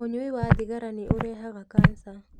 Ũnyui wa thigara ni urehaga kansa.